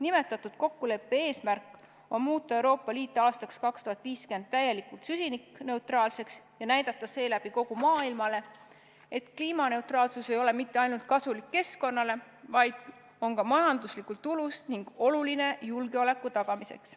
Nimetatud kokkuleppe eesmärk on muuta Euroopa Liit aastaks 2050 täielikult süsinikneutraalseks ja näidata seeläbi kogu maailmale, et kliimaneutraalsus ei ole mitte ainult kasulik keskkonnale, vaid on ka majanduslikult tulus ning oluline julgeoleku tagamiseks.